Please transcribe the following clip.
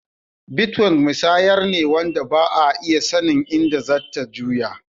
Bitcoin musayar ne wanda Ba'a iya sannin inda zatta juya.